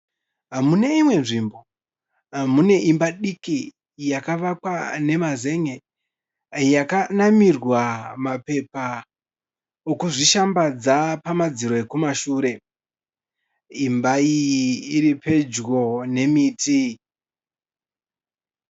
Mune imwe nzvimbo, mune imba diki yakavakwa nemazen'e, yakanamirwa mapepa okuzvishambadza pamadziro ekumashure. Imba iyi iri pedyo nemiti.